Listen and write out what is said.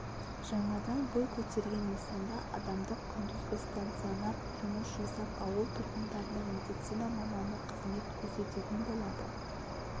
жаңадан бой көтерген нысанда адамдық күндізгі стационар жұмыс жасап ауыл тұрғындарына медицина маманы қызмет көрсететін болады